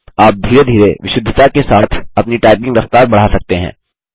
आप धीरे धीरे विशुद्धता के साथ अपनी टाइपिंग रफ्तार बढ़ा सकते हैं